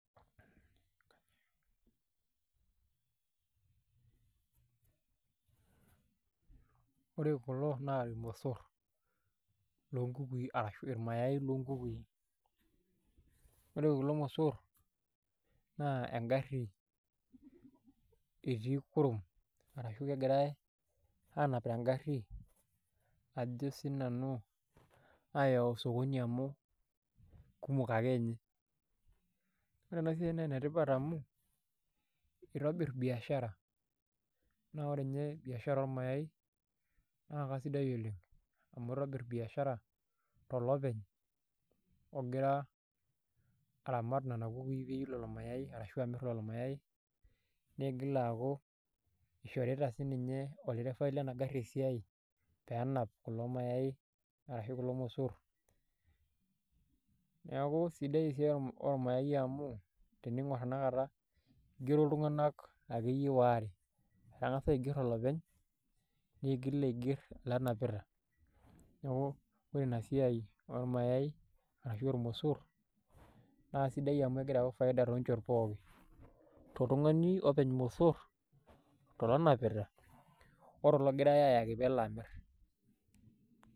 ore kulo naa irmosor loo nkukuii arashuu irmayai loonkukui ore kulo mosor na engari etii kurom arashuu kegirai aanap tengari ajo sii nanu aayau sokoni amu kumok akeninye ore ena siai naa enetipat amu eitobir biashara naa ore ninye biashara ormayai naa kasidai oleng amu eitobir biashara tolopeny ogira aramat nena kukui peiyiu lelo mayai arashua amir lelo mayai neigil aaku eishorita siininye olderevai lena gari esiai peenap kulo mayai arashuu kulo mosor neeku sidai esiai oormayai amu tening'or tenakata eigero iltung'anak akeyie waare etang'asa aiger olopeny neigil aiger elde onapita neeku ore inasiai oormayai ashuu oormosor naa sidai amu egira ayau faida toonchot pookin toltung'ani openy irmosor tolonapita oilo ogirai aayaki peelo amir.